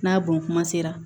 N'a bon kuma sera